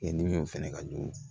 fɛnɛ ka jugu